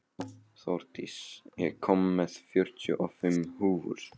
Þórdís, ég kom með fjörutíu og fimm húfur!